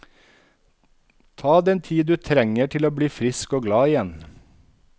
Ta den tid du trenger til å bli frisk og glad igjen.